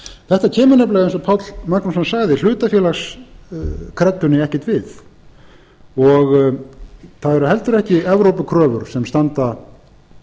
þetta kemur nefnilega eins og páll magnússon sagði hlutafélagskreddunni ekkert við það eru heldur ekki evrópukröfur sem standa